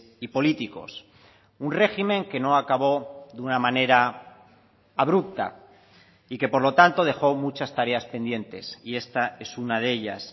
y políticos un régimen que no acabó de una manera abrupta y que por lo tanto dejó muchas tareas pendientes y esta es una de ellas